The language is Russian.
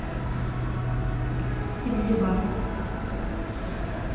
себзевар